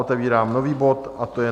Otevírám nový bod, a to je